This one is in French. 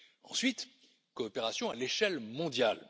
Ensuite, coopération à l'échelle mondiale.